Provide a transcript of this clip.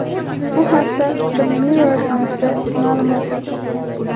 Bu haqda The Mirror nashri ma’lumot tarqatgan .